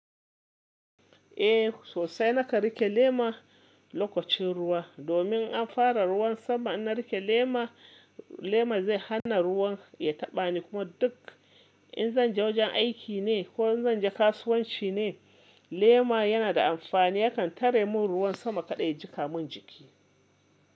Eh sosai nakan rike lema lokacin ruwa, domin an fara ruwan sama in na riƙe lema, lema zai hana ruwan ya taɓa ni. Kuma duk in zan je wajen aiki ne ko in zan je kasuwanci ne, lema yana da amfani yakan tare min ruwan sama kada ya jika min jiki.